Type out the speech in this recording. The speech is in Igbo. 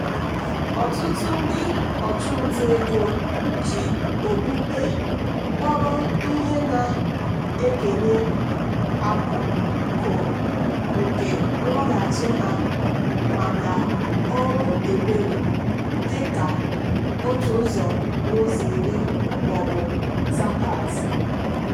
ọtụtụ ndị ọchụnta ego ji okpukpe kpọrọ ihe na-ekenye akụkụ nke nloghachi ha maka ọrụ ebere dị ka otu ụzọ n'ụzọ iri maọbụ zakat.